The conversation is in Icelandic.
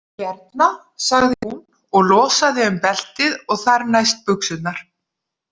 Hérna, sagði hún og losaði um beltið og þar næst buxurnar.